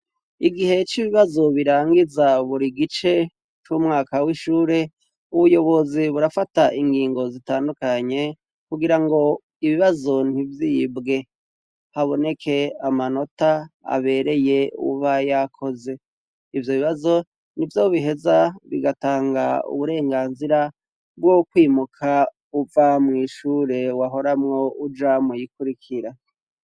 Igihe c'ibibazo birangiza buri gice c'umwaka w'ishure, ubuyobozi burafata ingingo zitandukanye kugirango ibibazo ntivyibwe haboneke amanota abereye uwuba yakoze, ivyo bibazo nivyo biheza bigatanga uburenganzira bwo kwimuka uva mw'ishure wahoramwo uja muyikurikira.